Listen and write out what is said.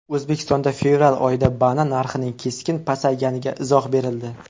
O‘zbekistonda fevral oyida banan narxining keskin pasayganiga izoh berildi.